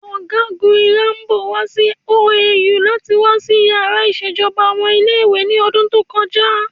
Ọ̀gágun Irabor wá sí OAU láti wá ṣí yàrá ìṣèjọba ọmọ ilé ìwé ní ọdún tó kọjá